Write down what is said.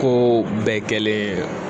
Ko bɛɛ kɛlen